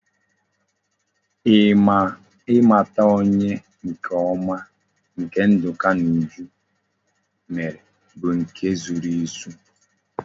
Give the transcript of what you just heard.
I mata onye nke oma nke nduka na uju mere bu nke e zoro ezo